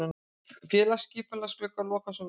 Félagaskiptaglugginn lokar á sunnudag.